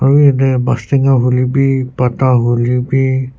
aro yate bastenga hoilebi patta hoilebi--